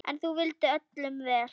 En þú vildir öllum vel.